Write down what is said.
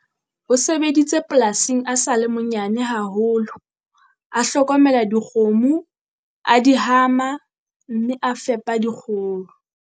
O sebeditse polasing a sa le monyane haholo, a hlokomela dikgomo, a di hama, mme a fepa dikgoho.